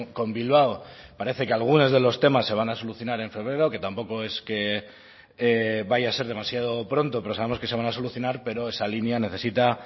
con bilbao parece que algunos de los temas se van a solucionar en febrero que tampoco es que vaya a ser demasiado pronto pero sabemos que se van a solucionar pero esa línea necesita